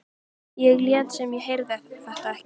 Ég lét sem ég heyrði þetta ekki.